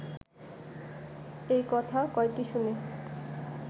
এই কথা কয়টি শুনে